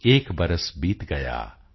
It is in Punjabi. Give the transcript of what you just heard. ਏਕ ਬਰਸ ਬੀਤ ਗਯਾ